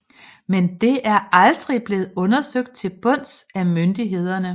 Men det er aldrig blevet undersøgt til bunds af myndighederne